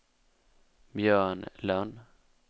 Björn Lönn